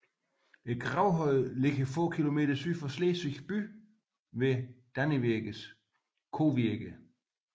Gravhøjene ligger få kilometer syd for Slesvig by ved Dannevirkes Kovirke